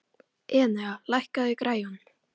Enea, lækkaðu í græjunum.